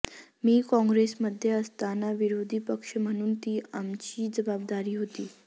मी काँग्रेसमध्ये असताना विरोधी पक्ष म्हणून ती आमची जबाबदारी होती